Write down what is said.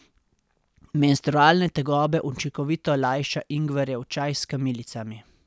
Menstrualne tegobe učinkovito lajša ingverjev čaj s kamilicami.